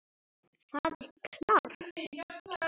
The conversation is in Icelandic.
Það er klárt.